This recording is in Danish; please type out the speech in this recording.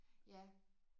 Ja